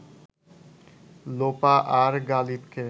লোপা আর গালিবকে